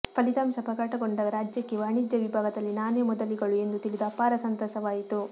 ಫಲಿತಾಂಶ ಪ್ರಕಟಗೊಂಡಾಗ ರಾಜ್ಯಕ್ಕೆ ವಾಣಿಜ್ಯ ವಿಭಾಗದಲ್ಲಿ ನಾನೇ ಮೊದಲಿಗಳು ಎಂದು ತಿಳಿದು ಅಪಾರ ಸಂತಸವಾಯಿತು